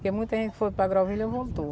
Porque muita gente foi para Grauvilha e voltou.